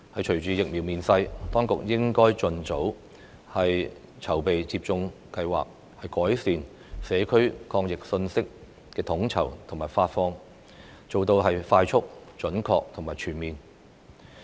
隨着疫苗面世，當局應該盡早籌備接種計劃，改善社區抗疫信息的統籌和發放，使有關工作快速、準確和全面。